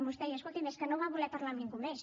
vostè deia escolti’m és que no van voler parlar amb ningú més